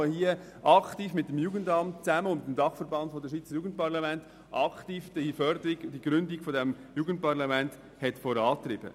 Er hat aktiv zusammen mit dem Jugendamt und dem Dachverband Schweizer Jugendparlamente (DSJ) die Förderung und Gründung des Jugendparlaments vorangetrieben.